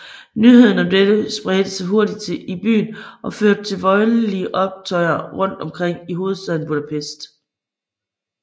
Nyheden om dette spredte sig hurtigt i byen og førte til voldelige optøjer rundt omkring i hovedstaden Budapest